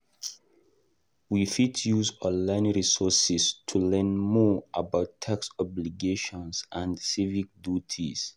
We fit use online resources to learn more about tax obligations and civic duties.